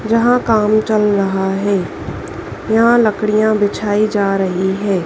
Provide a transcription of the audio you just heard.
यहां काम चल रहा है। यहां लकड़ियां बिछाई जा रही है।